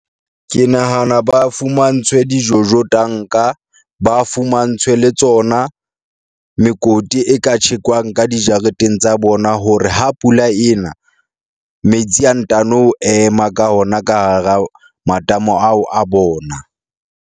Ke nahana ba fumantshwe di-Jojo tank-a ba fumantshwe le tsona, mekoti e ka tjhekwang ka dijareteng tsa bona hore ha pula ena metsi a ntano ema ka ona ka hara matamo ao, a bona.